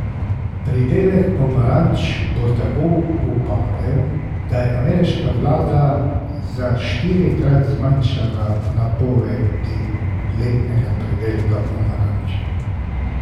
Pridelek pomaranč bo tako upadel, da je ameriška vlada za štirikrat zmanjšala napovedi letnega pridelka pomaranč.